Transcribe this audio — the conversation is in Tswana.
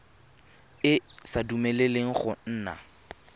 e sa dumeleleng go nna